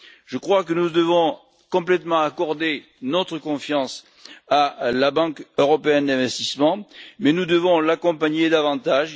Je crois que nous devons accorder notre totale confiance à la Banque européenne d'investissement, mais nous devons l'accompagner davantage.